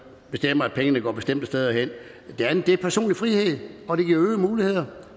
bestemmer at pengene går bestemte steder hen det andet er personlig frihed og det giver øgede muligheder